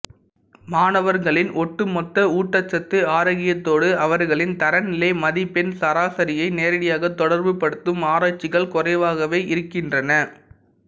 மாணவர்களின் ஒட்டுமொத்த ஊட்டச்சத்து ஆரோக்கியத்தோடு அவர்களின் தரநிலை மதிப்பெண் சராசரியை நேரடியாக தொடர்புபடுத்தும் ஆராய்ச்சிகள் குறைவாகவே இருக்கின்றன